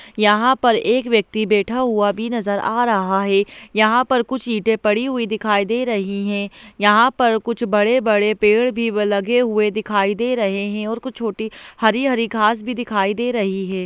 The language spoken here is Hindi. यहाँ पर एक व्यक्ति बैठा हुआ भी नजर आ रहा है यहाँ पर कुछ ईंटे पड़ी हुई दिखाई दे रही हैं यहाँ पर कुछ बड़े-बड़े पेड़ भी व लगे हुए दिखाई दे रहे हैं और कुछ छोटी हरी-हरी घास भी दिखाई दे रही है।